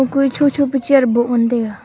kue cho cho ku chair bu ngan taiga.